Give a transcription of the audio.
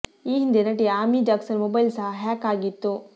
ಈ ಹಿಂದೆ ನಟಿ ಆಮಿ ಜಾಕ್ಸನ್ ಮೊಬೈಲ್ ಸಹ ಹ್ಯಾಕ್ ಆಗಿತ್ತು